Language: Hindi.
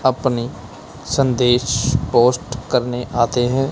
अपने संदेश पोस्ट करने आते हैं।